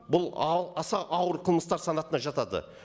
бұл аса ауыр қылмыстар санатына жатады